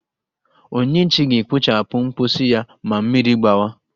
Onyinyechi ga-ekpochapụ mposi ya ma mmiri gbawa!